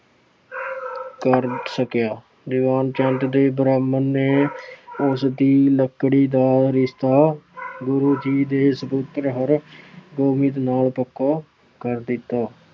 ਕਰ ਸਕਿਆ। ਦੀਵਾਨ ਚੰਦ ਤੇ ਬ੍ਰਾਹਮਣ ਨੇ ਉਸਦੀ ਲੜਕੀ ਦਾ ਰਿਸ਼ਤਾ ਗੁਰੂ ਜੀ ਦੇ ਸਪੁੱਤਰ ਹਰਗੋਬਿੰਦ ਨਾਲ ਪੱਕਾ ਕਰ ਦਿੱਤਾ।